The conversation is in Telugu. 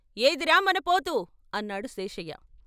ఏదిరా మన పోతు " అన్నాడు శేషయ్య.